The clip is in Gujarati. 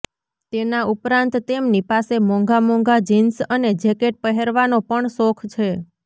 તેના ઉપરાંત તેમની પાસે મોંઘા મોંઘા જીન્સ અને જેકેટ પહેરવાનો પણ શોખ છે